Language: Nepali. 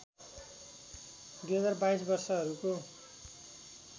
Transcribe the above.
२०२२ वर्षहरूको